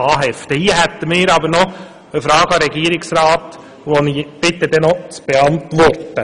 Ich habe aber noch eine Frage an den Regierungsrat, auf die ich eine Antwort erbitte.